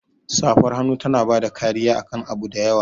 Safar hannu tana bada kariya akan abu da yawa.